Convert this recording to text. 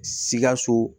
Sikaso